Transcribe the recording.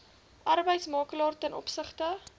arbeidsmakelaar ten opsigte